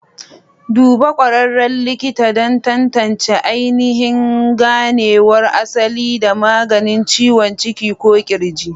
Duba ƙwararren likita don tantance ainihin ganewar asali da maganin ciwon ciki ko ƙirji.